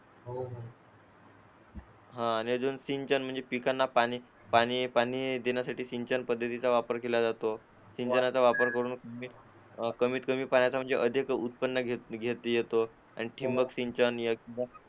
आणि अजून सिंचन म्हणजे पिकांना पाणी पाणी देण्यासाठी सिंचन पद्धतीचा वापर केला जातो सिंचनाचा वापर करून कमीत कमी पाण्यात अधिक उत्पन्न घेतो आणि ठिबक सिंचन